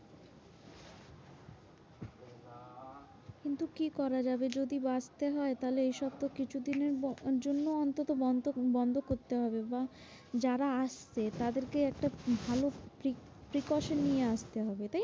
কিন্তু কি করা যাবে? যদি বাঁচতে হয় তাহলে এইসব তো কিছু দিনের জন্য অন্ততঃ বন্ধ বন্ধ করতে হবে বা যারা আসছে তাদেরকে একটা ভালো pre~ precaution নিয়ে আস্তে হবে।